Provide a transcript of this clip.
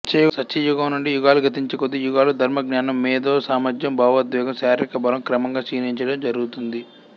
సత్యయుగం నుండి యుగాలు గతించేకొద్దీ యుగాలు ధర్మం జ్ఞానంమేధో సామర్థ్యం భావోద్వేగం శారీరక బలం క్రమంగా క్షీణించడం జరుగుతుంది